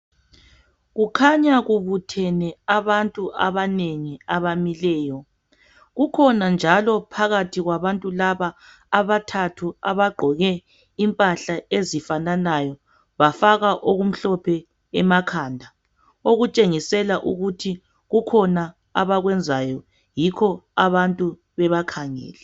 Kukhanya kubuthene abantu abanengi abamileyo kukhona njalo phakathi kwabantu laba abathathu abagqoke impahla ezifananayo bafaka okumhlophe emakhanda okutshengisela ukuthi kukhona abakwenzayo yikho abantu bebakhangele.